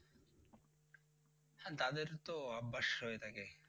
হ্যাঁ তাদের তো অভ্যাস হয়ে থাকে।